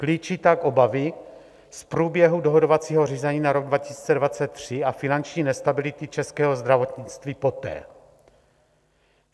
Klíčí tak obavy z průběhu dohodovacího řízení na rok 2023 a finanční nestability českého zdravotnictví poté.